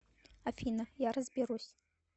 афина я разберусь